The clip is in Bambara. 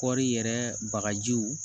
Kɔri yɛrɛ bagajiw